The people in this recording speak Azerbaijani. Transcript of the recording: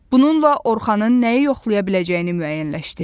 Bununla Orxanın nəyi yoxlaya biləcəyini müəyyənləşdirin.